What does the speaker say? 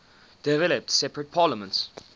developed separate parliaments